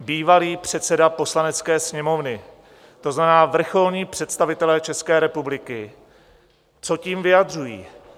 bývalý předseda Poslanecké sněmovny, to znamená vrcholní představitelé České republiky, co tím vyjadřují?